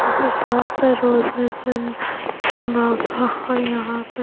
यहाँ सब तरह रोजेज है और यहाँ पे--